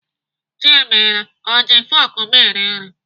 Chiemela ọ ji fọk m eri nri?